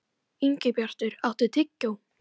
Ingibjartur, áttu tyggjó?